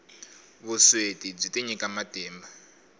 vusweti byi tinyika matimba